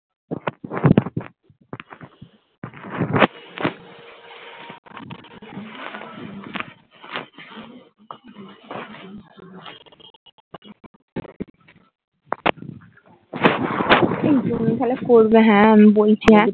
এই জমিয়ে করবে হ্যাঁ আমি বলছি হ্যাঁ